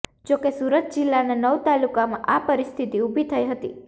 જો કે સુરત જિલ્લાના નવ તાલુકામાં આ પરિસ્થિતિ ઊભી થઈ હતી